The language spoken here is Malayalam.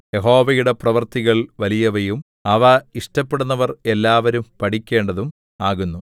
യഹോവയുടെ പ്രവൃത്തികൾ വലിയവയും അവ ഇഷ്ടപ്പെടുന്നവർ എല്ലാവരും പഠിക്കേണ്ടതും ആകുന്നു